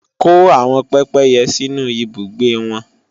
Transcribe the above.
Kó àwọn pépéyẹ sínú ibùgbé wọn!